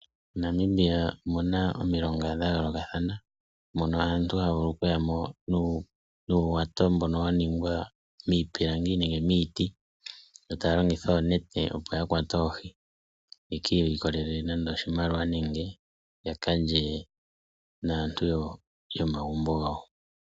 MoNamibia omuna omilonga dhayoolokathana moka aantu haya vulu okuyamo nuuwato mbono waningwa miipilangi nenge miiti yo taya longitha oonete opo yakwate oohi yekiilikolele oshimaliwa nenge yakalye naantu yokomagumbo gawo.